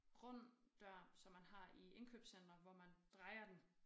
Rund dør som man har i indkøbscentre hvor man drejer den